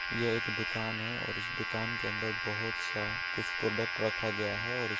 ये एक दुकान है और इस दुकान के अंदर बोहोत सा कुछ प्रोडक्ट रखा गया है और इस --